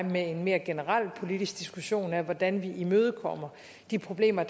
med en mere generel politisk diskussion om hvordan vi imødekommer de problemer